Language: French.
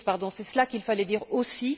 C'est cela qu'il fallait dire aussi.